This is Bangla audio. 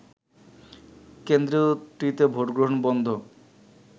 কেন্দ্রটিতে ভোটগ্রহণ বন্ধ